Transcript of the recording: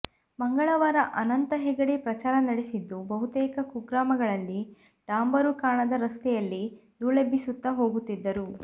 ಮಂಗಳವಾರ ಅನಂತ ಹೆಗಡೆ ಪ್ರಚಾರ ನಡೆಸಿದ್ದು ಬಹುತೇಕ ಕುಗ್ರಾಮಗಳಲ್ಲಿ ಡಾಂಬರು ಕಾಣದ ರಸ್ತೆಯಲ್ಲಿ ಧೂಳೆಬ್ಬಿಸುತ್ತ ಹೋಗು ತ್ತಿದ್ದರು